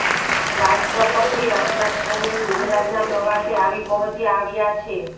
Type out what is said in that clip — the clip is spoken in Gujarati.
રાષ્ટ્રપતિ રામનાથ કોવિંદ ગુજરાતનાં પ્રવાસે આવી પહોચ્યા આવ્યાં છે